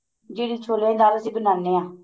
ਜਿਹੜੀ ਛੋਲਿਆਂ ਦੀ ਦਾਲ ਅਸੀਂ ਬਣਾਨੇ ਆ